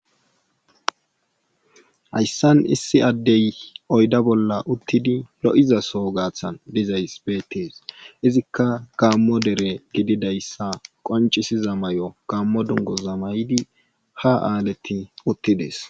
Hayssan issi addey oyda bolla uttidi lo7iza soo gaathan dizayssi beettees izikka gaammo dere gidiadayssa qonccisiza mayo gaammo dungguza mayid ha aaletti uttides.